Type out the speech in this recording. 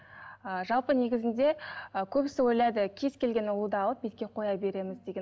ы жалпы негізінде ы көбісі ойлайды кез келген ұлуды алып бетке қоя береміз деген